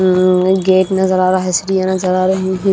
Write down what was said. Gate नजर आ रहा है सीढ़ियां नजर आ रही है।